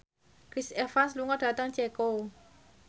Chris Evans lunga dhateng Ceko